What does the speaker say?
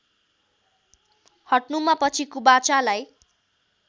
हट्नुमा पछि कुबाचालाई